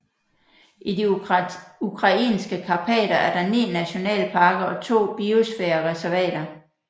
I de ukrainske karpater er der ni nationalparker og to biosfærereservater